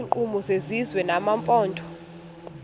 iinkqubo zesizwe nezamaphondo